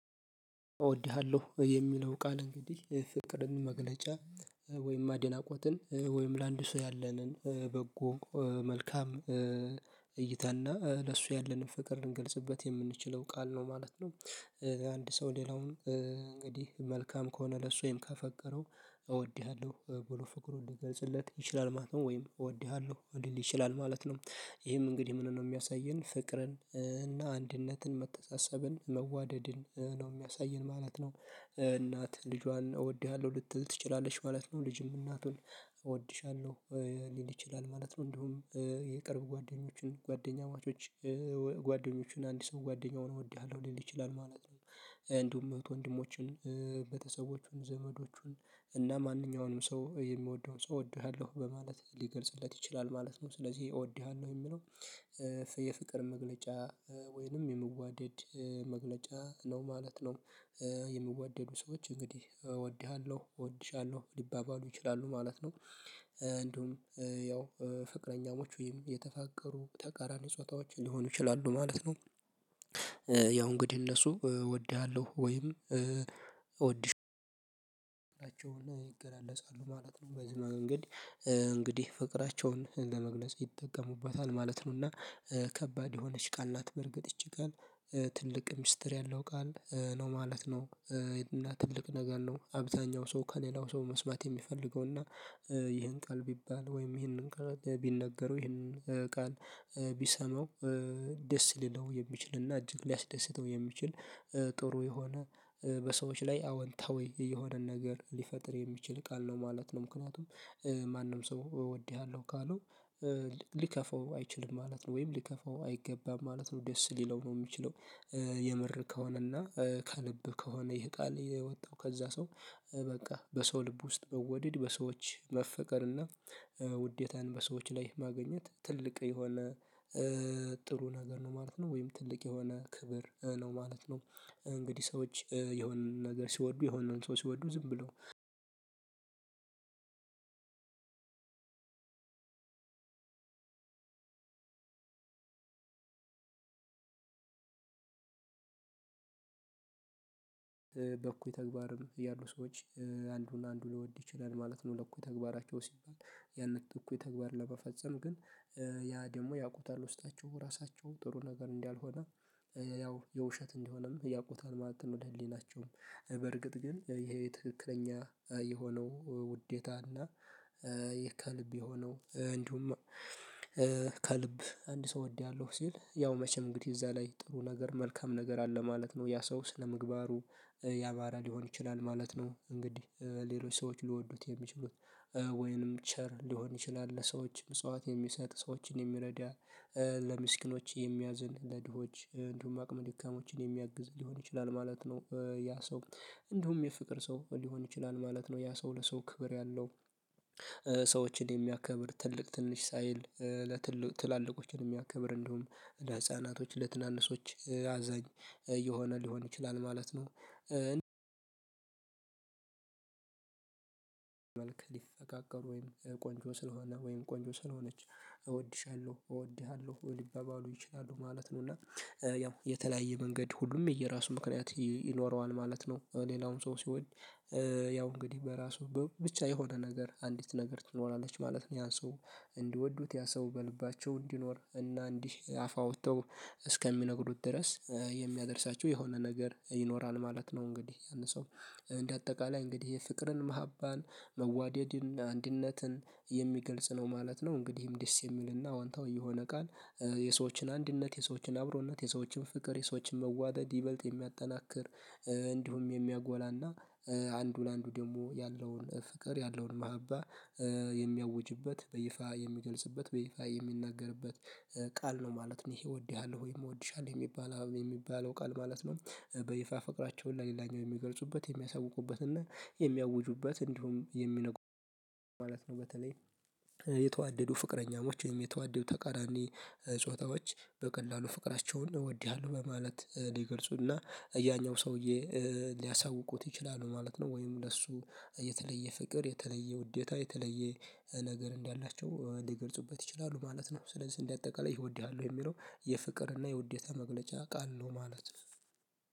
እወድሃለሁ የሚለው ቃል እንግዲህ ፍቅርን መግለጫ ወይም አድናቆትን ወይም ለአንዱ ሰው ያለንን በጎ መልካም እይታና ለሱ ያለንን ፍቅር ልንገልጽበት የምንችለው ቃል ነው ማለት ነው። አንድ ሰው ሌላውን እንግዲህ መልካም ከሆነ ለሱ ወይም ካፈቀረው እወድሃለሁ ብሎ ፍቅሩን ልገልጽለት ይችላል ማለት ነው ወይም እወድሃለሁ ሊል ይችላል ማለት ነው። ይሄም እንግዲህ ምንን ነው የሚያሳየን ፍቅርን እና አንድነትን መተሳሰብን መዋደድን ነው የሚያሳየን ማለት ነው። እናት ልጇን እወድሃለሁ ልትል ትችላለች ማለት ነው። ልጅም እናቱን እወድሻለሁ ሊል ይችላል ማለት ነው። እንዲሁም የቅርብ ጓደኞችን ጓደኛ ማቾች ጓደኞችን አንድ ሰው ጓደኛ ሆኖ እወድሃለሁ ሊል ይችላል ማለት ነው። እንዲሁም እህት ወንድሞችን ቤተሰቦቹን ዘመዶቹን እና ማንኛውንም ሰው የሚወደውን ሰው እወድሃለሁ በማለት ሊገልጽለት ይችላል ማለት ነው። ስለዚህ እወድሃለሁ የሚለው የፍቅር መግለጫ ወይንም የምዋደድ መግለጫ ነው ማለት ነው። የሚዋደዱ ሰዎች እንግዲህ እወድሃለሁ እወድሻለሁ ሊባባሉ ይችላሉ ማለት ነው። እንደውም ያው ፍቅረኛሞች ወይም የተፋቀሩ ተቃራኒ ጾታዎች ሊሆኑ ይችላሉ ማለት ነው። ያው እንግዲህ እነሱ እወድሃለሁ ወይም እወድሽው ይገላለጻሉ ማለት ነው። በዚህ እንግዲህ እንግዲህ ፍቅራቸውን ለመግለጽ ይጠቀሙበታል ማለት ነውና። ከባድ የሆነች ቃል ናት በርግጥ ይች ቃል ትልቅ ሚስጥር ያለው ቃል ነው ማለት ነው። እና ትልቅ ነገር ነው አብዛኛው ሰው ከሌላው ሰው መስማት የሚፈልገው እና። ይሄን ቃል ቢባል ወይም ይሄንን ቢነገረው ይሄንን ቃል ቢሰማው። ደስ ሊለው የሚችል እና እጅግ ሊያስደስተው የሚችል ጥሩ የሆነ በሰዎች ላይ አወንታዊ የሆነን ነገር ሊፈጥር የሚችል ቃል ነው ማለት ነው። ምክንያቱም ማንም ሰው እወድሃለሁ ካለው ሊከፋው አይችልም ማለት ነው። ወይም ሊከፋው አይገባም ማለት ነው ደስ ሊለው ነው የሚችለው። የምር ከሆነ እና ከልብ ከሆነ ይሄ ቃል የወጣው ከዛ ሰው። በቃ በሰው ልብ ውስጥ መወደድ በሰዎች መፈቀር እና ውዴታን በሰዎች ላይ ማግኘት ትልቅ የሆነ ጥሩ ነገር ነው ማለት ነው። ወይም ትልቅ የሆነ ክብር ነው ማለት ነው። እንግዲህ ሰዎች የሆነ ነገር ሲወዱ የሆነውን ሰው ሲወዱ ዝም ብለው። በኩይ ተግባርም ያሉ ሰዎች አንዱን አንዱን ሊወድ ይችላል ማለት ነው። ለእኩይ ተግባራቸው ሲባል ያንን እኩይ ተግባር ለመፈጸም ግን ያ ደግሞ ያውቁታል ውስጣቸው ራሳቸው ጥሩ ነገር እንዲያልሆነ ያው የውሸት እንደሆነም ያውቁታል ማለት ነው። ለህሊናቸውም በርግጥ ግን ይሄ ትክክለኛ የሆነው ውዴታና። ከልብ የሆነው እንዲሁም ከልብ አንድ ሰው እወድሃለሁ ሲል ያው መቼም እንግዲህ እዛ ላይ ጥሩ ነገር መልካም ነገር አለ ማለት ነው። ያ ሰው ስነምግባሩ ያማረ ሊሆን ይችላል ማለት ነው። እንግዲህ ሌሎች ሰዎች ሊወዱት የሚችሉት ወይንም ቸር ሊሆን ይችላል ለሰዎች ምጽዋት የሚሰጥ ሰዎችን የሚረዳ ለምስኪኖች የሚያዝን ለድሆች እንዲሁም አቅም ድካሞችን የሚያግዝ ሊሆን ይችላል ማለት ነው። ያ ሰው እንደውም የፍቅር ሰው ሊሆን ይችላል ማለት ነው። ያ ሰው ለሰው ክብር ያለው። ሰዎችን የሚያከብር ትልቅ ትንሽ ሳይል ለትልቅ ትላልቆችን የሚያከብር እንደውም ለህፃናቶች ለትናንሾች አዛኝ የሆነ ሊሆን ይችላል ማለት ነው። መልክ ሊፈቃቀሩ ወይም ቆንጆ ስለሆነ ወይም ቆንጆ ስለሆነች እወድሻለሁ እወድሃለሁ ሊባባሉ ይችላሉ ማለት ነው። እና ያው የተለያየ መንገድ ሁሉም የየራሱ ምክንያት ይኖረዋል ማለት ነው። ሌላውም ሰው ሲወድ። ያው እንግዲህ በራሱ ብቻ የሆነ ነገር አንዲት ነገር ትኖራለች ማለት ነው። ያን ሰው እንዲወዱት ያ ሰው በልባቸው እንዲኖር እና እንዲህ አፍ አውጥተው እስከሚነግሩት ድረስ የሚያደርሳቸው የሆነ ነገር ይኖራል ማለት ነው። እንግዲህ ያንን ሰው እንደ አጠቃላይ እንግዲህ የፍቅርን መሃባን መዋደድን አንድነትን የሚገልጽ ነው ማለት ነው። እንግዲህም ደስ የሚልና ዋንታው የሆነ ቃል የሰዎችን አንድነት የሰዎችን አብሮነት የሰዎችን ፍቅር የሰዎችን መዋደድ ይበልጥ የሚያጠናክር። እንዲሁም የሚያጎላና። አንዱ ለአንዱ ደግሞ ያለውን ፍቅር ያለውን ማህበር የሚያውጅበት በይፋ የሚገልጽበት በይፋ የሚናገርበት። ቃል ነው ማለት እሄ እወድሃለሁ ወይ እወድሻለሁ የሚባል የሚባለው ቃል ማለት ነው። በይፋ ፍቅራቸውን ለሌላኛው የሚገልጹበት የሚያሳውቁበት እና የሚያውጁበት እንዲሁም የሚነግሩ ማለት ነው። በተለይ። የተዋደዱ ፍቅረኛሞች ወይም የተዋደዱ ተቃራኒ ጾታዎች በቀላሉ ፍቅራቸውን እወድሃለሁ በማለት ሊገልጹና ያኛው ሰውዬ ሊያሳውቁት ይችላሉ ማለት ነው። ወይም ለሱ የተለየ ፍቅር የተለየ ውዴታ የተለየ ነገር እንዳላቸው ሊገልጹበት ይችላሉ ማለት ነው። ስለዚህ እንደአጠቃላይ ይህ እወድሃለሁ የሚለው የፍቅርና የውዴታ መግለጫ ቃል ነው ማለት ነው።